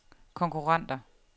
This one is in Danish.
konkurrenter